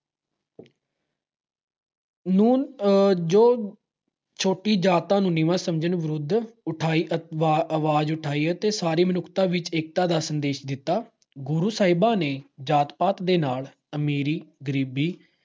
ਨੂੰ ਆਹ ਜੋ ਛੋਟੀ ਜਾਤਾਂ ਨੂੰ ਨੀਵਾਂ ਸਮਝਣ ਵਿਰੁੱਧ ਉਠਾਈ ਅਹ ਆਵਾਜ ਉਠਾਈ ਅਤੇ ਸਾਰੀ ਮਨੁੱਖਤਾ ਵਿੱਚ ਏਕਤਾ ਦਾ ਸੰਦੇਸ਼ ਦਿੱਤਾ। ਗੁਰੂ ਸਾਹਿਬਾਂ ਨੇ ਜਾਤ-ਪਾਤ ਦੇ ਨਾਲ ਅਮੀਰੀ-ਗਰੀਬੀ